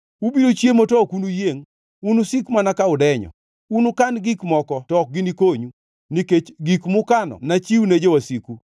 Ubiro chiemo to ok unuyiengʼ; unusik mana ka udenyo. Unukan gik moko to ok ginikonyu, nikech gik mukano nachiwne jowasiku.